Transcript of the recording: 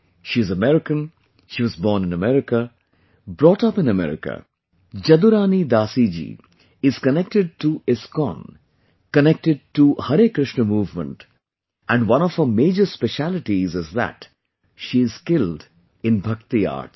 She is American, was born in America, brought up in America, Jadurani Dasi ji is connected to ISKCON, connected to Harey Krishna movement and one of her major specialities is that she is skilled in Bhakti Arts